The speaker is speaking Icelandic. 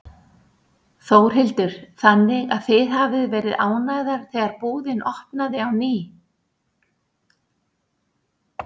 Þórhildur: Þannig að þið hafið verið ánægðar þegar búðin opnaði á ný?